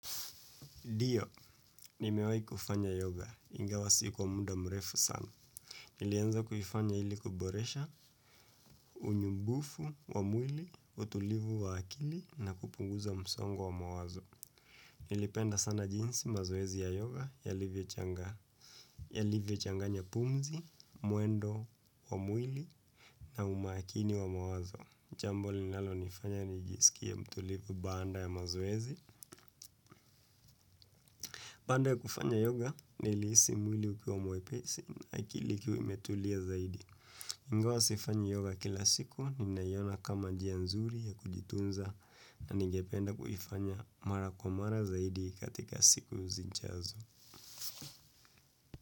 Dio, nimewahi kufanya yoga, ingawa si kwa muda mrefu sana. Nilianza kufanya ili kuboresha unyumbufu wa mwili, utulivu wa akili na kupunguza msongo wa wamawazo. Nilipenda sana jinsi mazoezi ya yoga yalivyochanga, yalivyochanganya pumzi, mwendo wa mwili na umakini wa mawazo. Jambo linalonifanya nijisikie mtulivu baada ya mazoezi. Baada ya kufanya yoga, nilihisi mwili ukiwa mwepesi na kilikuwa imetulia zaidi. Ingawa sifanyi yoga kila siku, ninaiona kama njia nzuri ya kujitunza na ningependa kuifanya mara kwa mara zaidi katika siku zijazo.